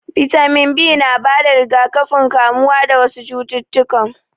Bitamin B na bada rigakafin kamuwa dawasu cutukan